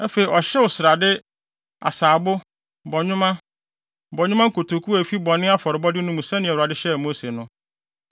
Afei, ɔhyew srade, asaabo, bɔnwoma, bɔnwoma nkotoku a efi bɔne afɔrebɔde no mu sɛnea Awurade hyɛɛ Mose no.